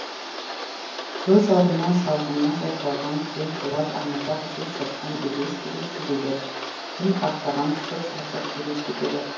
көз алдына шалғыны жайқалған кең қолат аңызақ жел соққан белес белес төбелер күн қақтаған сұр жазық елестетеді